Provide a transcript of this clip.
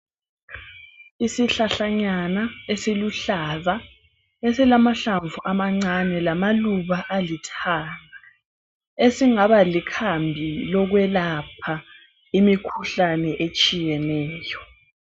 Isihlahlanyana esiluhlaza esilamahlamvu amancane lamaluba alithanga esingaba likhambi lokwelapha imikhuhlane etshiyeneyo.